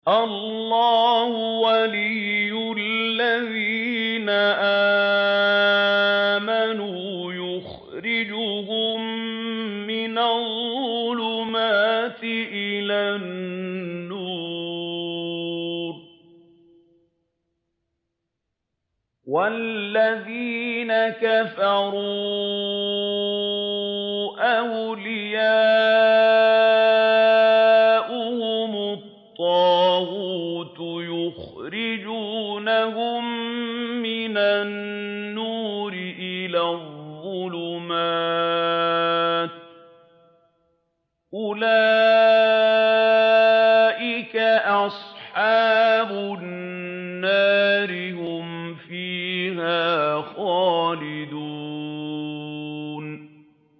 اللَّهُ وَلِيُّ الَّذِينَ آمَنُوا يُخْرِجُهُم مِّنَ الظُّلُمَاتِ إِلَى النُّورِ ۖ وَالَّذِينَ كَفَرُوا أَوْلِيَاؤُهُمُ الطَّاغُوتُ يُخْرِجُونَهُم مِّنَ النُّورِ إِلَى الظُّلُمَاتِ ۗ أُولَٰئِكَ أَصْحَابُ النَّارِ ۖ هُمْ فِيهَا خَالِدُونَ